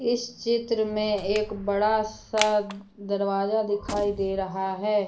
इस चित्र में एक बड़ा सा दरवाजा दिखाई दे रहा है।